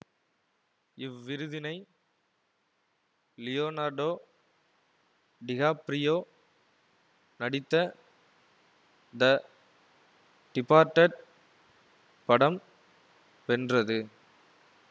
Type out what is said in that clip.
இவ்விருதினை Leonardo DiCaprio நடித்த the Departed படம் வென்றது